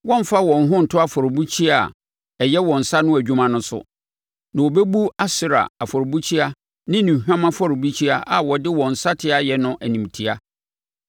Wɔremfa wɔn ho nto afɔrebukyia a ɛyɛ wɔn nsa ano adwuma no so, na wɔbɛbu Asera afɔrebukyia ne nnuhwan afɔrebukyia a wɔde wɔn nsateaa ayɛ no animtia.